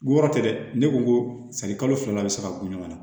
Ko yɔrɔ tɛ dɛ ne ko ko sanni kalo fila bɛ se ka ku ɲɔgɔn na